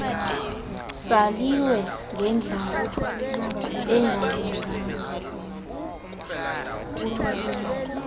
saliwe ngendlala engalunganga